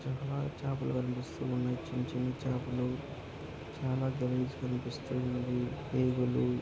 చిత్రంలో చేపలు కనిపిస్తున్నాయి చిన్న చిన్న చేపలు చాలా గలీజుగా కనిపిస్తున్నాయి ఈగలు--